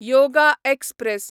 yoga express